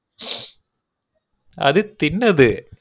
ம்ம் அது தின்னது